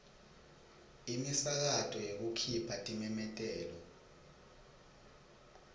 imisakato yekukhipha timemetelo